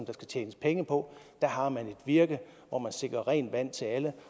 skal tjenes penge på der har man et virke hvor man sikrer rent vand til alle